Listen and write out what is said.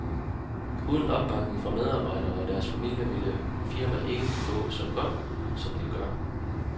Uden opbakning fra medarbejderne og deres familier ville vores firma ikke gå så godt, som det gør.